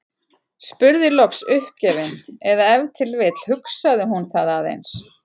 Spurði loks uppgefin- eða ef til vill hugsaði hún það aðeins